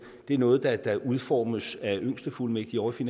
er noget der der udformes af yngstefuldmægtige ovre i